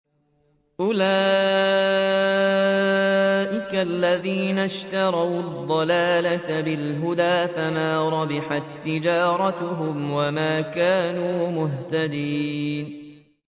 أُولَٰئِكَ الَّذِينَ اشْتَرَوُا الضَّلَالَةَ بِالْهُدَىٰ فَمَا رَبِحَت تِّجَارَتُهُمْ وَمَا كَانُوا مُهْتَدِينَ